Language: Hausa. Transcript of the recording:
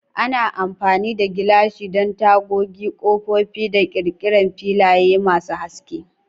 Ana amfani da gilashi don tagogi, kofofin da ƙirƙirar filaye masu haske.